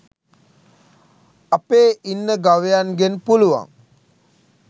අපේ ඉන්න ගවයන්ගෙන් පුළුවන්